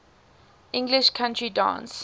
english country dance